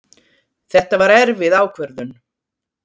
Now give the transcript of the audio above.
Þetta var erfið ákvörðun